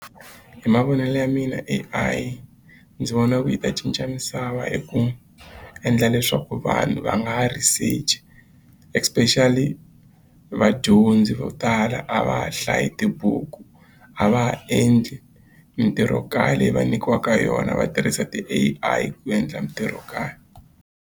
Hi mavonelo ya mina A_I ndzi vona ku yi ta cinca misava hi ku endla leswaku vanhu va nga ha research especially vadyondzi vo tala a va ha hlayi tibuku a va ha endli mitirhokaya leyi va nyikiwaka yona va tirhisa ti-A_I ku endla mitirhokaya.